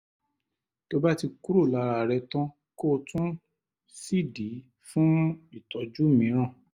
tó bá ti kúrò lára rẹ tán kò tún sídìí fún ìtọ́jú mìíràn